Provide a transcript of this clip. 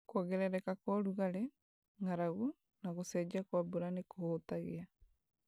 Kuongerereka kwa ũrugarĩ, ng'aragu, na gũcenjia kwa mbura nĩ kũhutagia